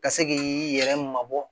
Ka se k'i yɛrɛ mabɔ